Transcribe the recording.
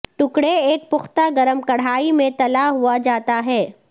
ٹکڑے ایک پختہ گرم کڑاہی میں تلا ہوا جاتا ہے